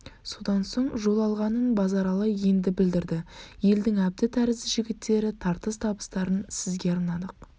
содан соң жол алғанын базаралы енді білдірді елдің әбді тәрізді жігіттері тартыс табыстарын сізге арнадық